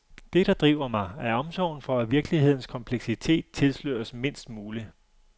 Det, der driver mig, er omsorgen for, at virkelighedens kompleksitet tilsløres mindst muligt.